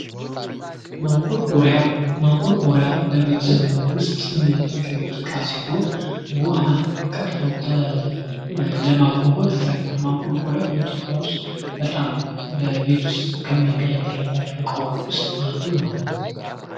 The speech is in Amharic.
ማንቆርቆሪያ ማንቆርቆሪያ በቤት ዉስጥ የምንጠቀምበት ዕቃ ሲሆን ዉሃን ቀድቶ ለማጕጕዝ ይጠቅማል:: ማንቆርቆሪያ በኢትዮጵያ ዉስጥ በጣም በቤት ዉስጥ ከምንገለገልባቸው እቃዎች ዉስጥ አንዱ ነው::